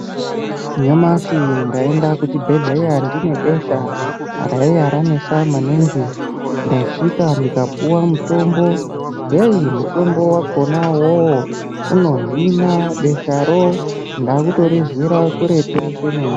Nyamashi naenda kuchi bhedhleya ndine besha raiwa ranesa maningi ndasvika ndika puwa mutombo hei mutombo wakona iwowo uno hinaa besharo ndakuto rinzwira kuretu komene.